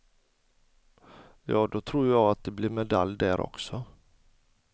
Ja, då tror jag att det blir medalj där också.